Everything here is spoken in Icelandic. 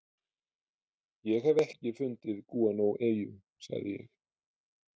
Ég hef ekki fundið gúanóeyju, sagði ég.